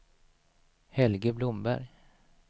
Helge Blomberg